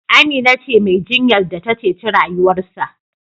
Amina ce Mai jinyar da ta ceci rayuwarsa